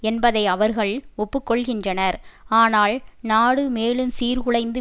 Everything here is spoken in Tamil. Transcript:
என்பதை அவர்கள் ஒப்புக்கொள்கின்றனர் ஆனால் நாடு மேலும் சீர்குலைந்து